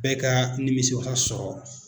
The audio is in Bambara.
Bɛ ka nimisi wasa sɔrɔ.